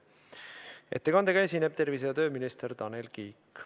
Ettekandega esineb tervise- ja tööminister Tanel Kiik.